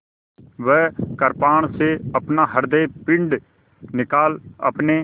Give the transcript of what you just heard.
वह कृपाण से अपना हृदयपिंड निकाल अपने